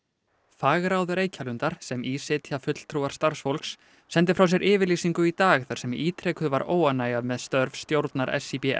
fagráð Reykjalundar sem í sitja fulltrúar starfsfólks sendi frá sér yfirlýsingu í dag þar sem ítrekuð var óánægja með störf stjórnar